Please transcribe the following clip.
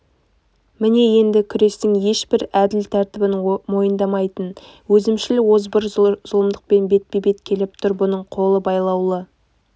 міне енді күрестің ешбір әділ тәртібін мойындамайтын өзімшіл озбыр зұлымдықпен бетпе-бет келіп тұр бұның қолы байлаулы